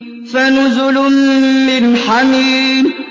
فَنُزُلٌ مِّنْ حَمِيمٍ